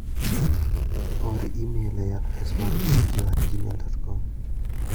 Or imel e adres mar JoeJoe@gmail.com